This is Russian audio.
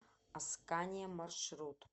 аскания маршрут